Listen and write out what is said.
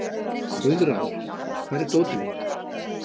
Guðráður, hvar er dótið mitt?